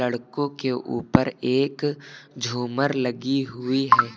लड़कों के ऊपर एक झूमर लगी हुई है।